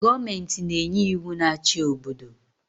Goomenti na-enye iwu na achi obodo